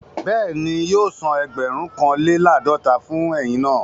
Bẹ́ẹ̀ni, yóò san ẹgbẹ̀rún kan lé làádọ́ta fún eyin náà